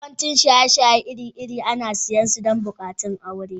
Yawancin shaye-shaye iri-iri ana siyan su don bukukuwan aure.